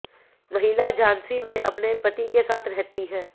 महिला झांसी में अपने पति के साथ रहती है